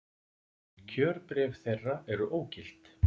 Kjörbréf þeirra eru ógild